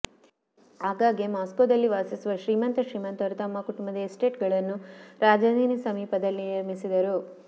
ಆಗಾಗ್ಗೆ ಮಾಸ್ಕೋದಲ್ಲಿ ವಾಸಿಸುವ ಶ್ರೀಮಂತ ಶ್ರೀಮಂತರು ತಮ್ಮ ಕುಟುಂಬದ ಎಸ್ಟೇಟ್ಗಳನ್ನು ರಾಜಧಾನಿ ಸಮೀಪದಲ್ಲಿ ನಿರ್ಮಿಸಿದರು